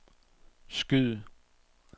skyd